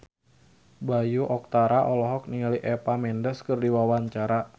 Bayu Octara olohok ningali Eva Mendes keur diwawancara